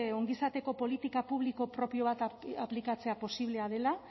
ongizateko politika publiko propio bat aplikatzea posiblea dela